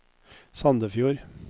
Sandefjord